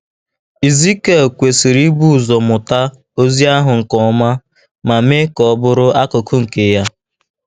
Ezikiel kwesịrị ibu ụzọ mụta ozi ahụ nke ọma ma mee ka ọ bụrụ akụkụ nke ya.